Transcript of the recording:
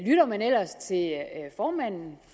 lytter man ellers til formanden